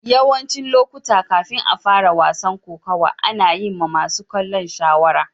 Yawancin lokuta, kafin a fara wasan kokawa, ana yin ma masun kallo shawara.